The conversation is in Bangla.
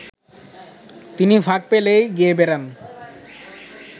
তিনি ফাঁক পেলেই গেয়ে বেড়ান